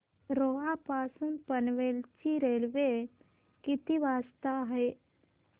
रोहा पासून पनवेल ची रेल्वे किती वाजता आहे